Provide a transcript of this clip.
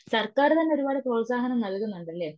സർക്കാര് തന്നെ ഒരുപാട് പ്രോത്സാഹനം നല്കുന്നുണ്ടല്ലേ